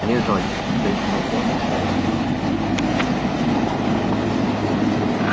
лежать крикнул он ещё раз